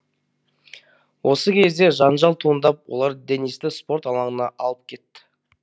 осы кезде жанжал туындап олар денисті спорт алаңына алып кетті